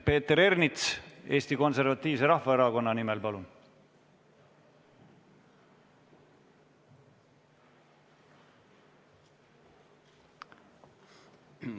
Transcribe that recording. Peeter Ernits Eesti Konservatiivse Rahvaerakonna nimel, palun!